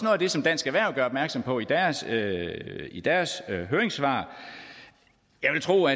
af det som dansk erhverv gør opmærksom på i deres i deres høringssvar og jeg vil tro at